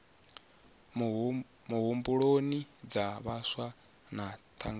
muhumbuloni dza vhaswa na thangana